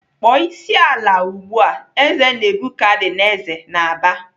"Kpọọ isi n'ala ugbu a!" Eze Nebukadneza na-aba.